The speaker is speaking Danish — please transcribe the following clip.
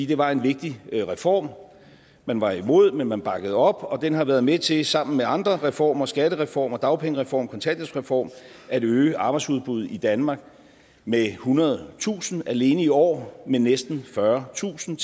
det var en vigtig reform man var imod men man bakkede op og den har været med til sammen med andre reformer skattereform dagpengereform kontanthjælpsreform at øge arbejdsudbudet i danmark med ethundredetusind alene i år med næsten fyrretusind